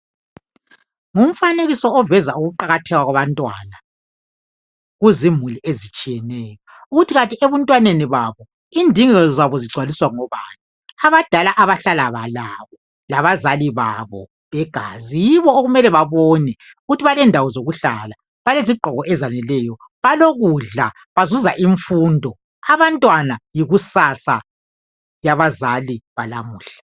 Ngumfanekiso oveza ukuqakatheka kwabantwana, kuzimuli ezitshiyeneyo. Ukuthi kanti ebuntwaneni babo, indingeko zabo zigcwaliswa ngobani? Abadala abahlala labo, labazali babo begazi, yibo okumele babone ukuthi balendawo zokuhlala. Balezigqoko ezaneleyo, balokudla. Bazuza imfundo. Abantwana yikusasa, yabazali balamuhla.